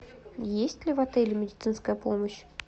есть ли в отеле медицинская помощь